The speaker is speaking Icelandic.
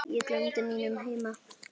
Ég gleymdi mínum heima